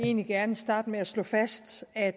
egentlig gerne starte med at slå fast at